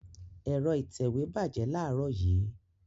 Ẹ̀rọ ìtẹ̀wé bàjẹ́ láàárọ̀ yìí.